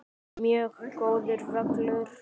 Mjög góður völlur.